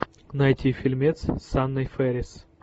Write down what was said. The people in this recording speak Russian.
найти фильмец с анной фэрис